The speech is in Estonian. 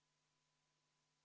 Palun võtta seisukoht ja hääletada!